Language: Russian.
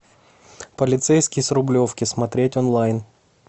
полицейский с рублевки смотреть онлайн